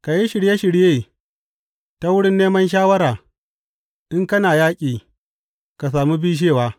Ka yi shirye shirye ta wurin neman shawara; in kana yaƙi, ka sami bishewa.